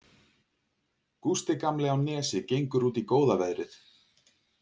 Gústi gamli á Nesi gengur út í góða veðrið.